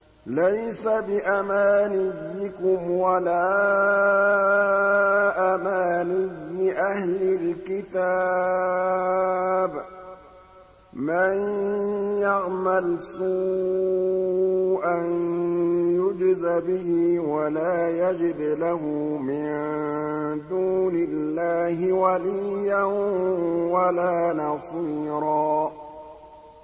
لَّيْسَ بِأَمَانِيِّكُمْ وَلَا أَمَانِيِّ أَهْلِ الْكِتَابِ ۗ مَن يَعْمَلْ سُوءًا يُجْزَ بِهِ وَلَا يَجِدْ لَهُ مِن دُونِ اللَّهِ وَلِيًّا وَلَا نَصِيرًا